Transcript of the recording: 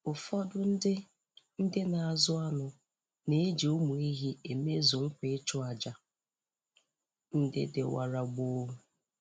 Ụfọdụ ndị ndị na-azụ anụ na-eji ụmụ ehi emezu nkwa ịchụ àjà ndị dịwara gboo